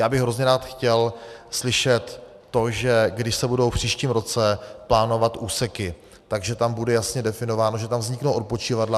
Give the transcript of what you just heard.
Já bych hrozně rád chtěl slyšet to, že když se budou v příštím roce plánovat úseky, že tam bude jasně definováno, že tam vzniknou odpočívadla.